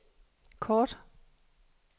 kort